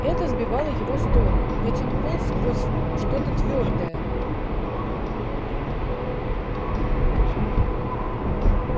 это сбивало его с толку ведь он полз сквозь что-то твёрдое